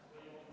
Aitäh!